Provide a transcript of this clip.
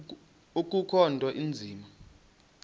akukho nto inzima